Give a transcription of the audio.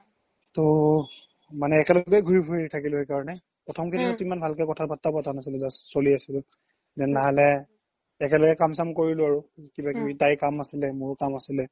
তো মানে এনেলগে ঘুৰি ফুৰি থাকিলো সেই কাৰনে প্ৰথম কইদিনত তো ভালকে কথা বাত্ৰাও পাতা নাছিলো just চ্লি আছিলো লাহে লাহে একেলগে কাম চাম কৰিলো আৰু কিবা কিবি তাইৰ কাম আছিলে মোৰ কাম আছিলে